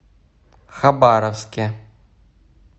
хабаровске